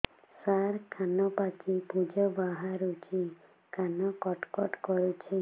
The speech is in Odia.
ସାର କାନ ପାଚି ପୂଜ ବାହାରୁଛି କାନ କଟ କଟ କରୁଛି